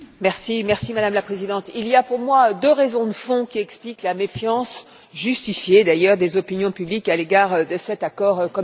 Madame la Présidente, il y a pour moi deux raisons de fond qui expliquent la méfiance justifiée d'ailleurs des opinions publiques à l'égard de cet accord commercial.